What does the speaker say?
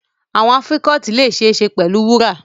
Earrings can be made of gold